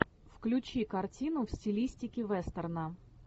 включи картину в стилистике вестерна